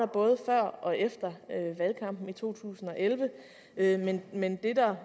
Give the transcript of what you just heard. både før og efter valgkampen i to tusind og elleve men det der